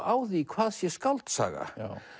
á því hvað sé skáldsaga